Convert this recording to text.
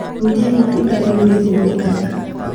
Ũrĩa itunda rĩu rĩhũthĩkaga